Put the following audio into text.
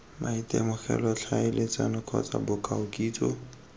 maitemogelo tlhaeletsano kgotsa bokao kitso